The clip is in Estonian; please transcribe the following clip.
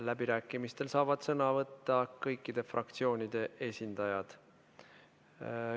Läbirääkimistel saavad sõna võtta kõikide fraktsioonide esindajad.